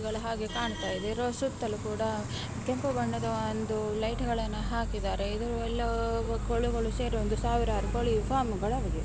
ಕಾಣ್ತಾ ಇದೆ ಸುತ್ತಲೂ ಕೂಡ ಕೆಂಪು ಬಣ್ಣದ ಲೈಟ್ಗಳನ್ನು ಹಾಕಿದ್ದಾರೆ ಇದು ಎಲ್ಲಾ ಸೇರಿ ಕೋಳಿಗಳು ಸಾವಿರಾರು ಕೋಳಿಗಳು ಫಾರ್ಮ್ನಲ್ಲಿ ಇವೆ.